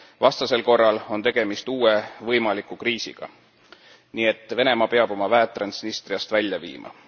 Vastasel korral on tegemist uue võimaliku kriisiga, nii et Venemaa peab oma väed Transnistriast välja viima.